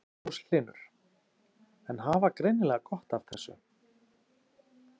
Magnús Hlynur: En hafa greinilega gott af þessu?